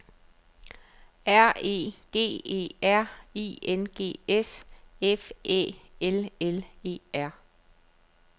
R E G E R I N G S F Æ L L E R